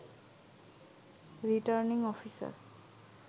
returning officer